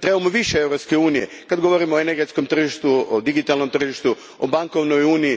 trebamo više Europske unije kada govorimo o energetskom tržištu, o digitalnom tržištu, o bankovnoj uniji.